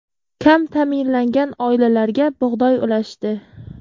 Kam ta’minlangan oilalarga bug‘doy ulashdi.